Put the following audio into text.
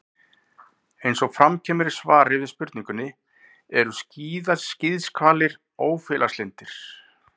Eins og fram kemur í svari við spurningunni: Eru skíðishvalir ófélagslyndir?